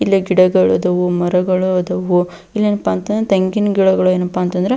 ಇಲ್ಲೇ ಗಿಡಗಳು ಆದವು ಮರಗಳು ಆದವು ಇಲ್ಲೆನಪ್ಪ ಅಂತ ಅಂದ್ರೆ ತೆಂಗಿನ ಗಿಡಗಳು ಏನಪ್ಪಾ ಅಂತ ಅಂದ್ರೆ --